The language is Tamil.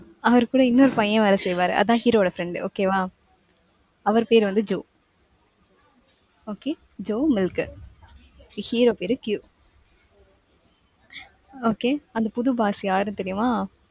அவர்கூட இன்னொரு பையன் வேலை செய்வாரு, அதான் hero வோட friend okay வா? அவர் பேரு வந்து jo okay jo milk hero பேரு Q okay அந்த புது boss யாரு தெரியுமா?